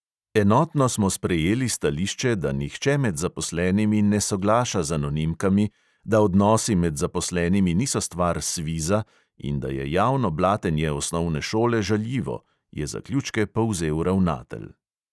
"Enotno smo sprejeli stališče, da nihče med zaposlenimi ne soglaša z anonimkami, da odnosi med zaposlenimi niso stvar sviza in da je javno blatenje osnovne šole žaljivo," je zaključke povzel ravnatelj.